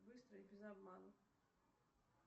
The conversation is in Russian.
быстро и без обмана